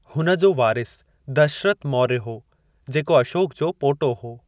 हुन जो वारिसु दशरथ मौर्य हो, जेको अशोक जो पोटो हो।